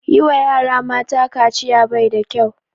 Yi wa yara mata kaciya bai da kyau